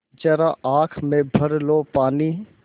ज़रा आँख में भर लो पानी